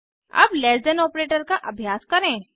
अब less than operator का अभ्यास करें